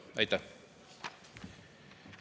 Aitäh!